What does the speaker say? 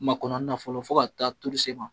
Ma kɔnɔni na fɔlɔ fɔ ka taa tuuru s'i ma.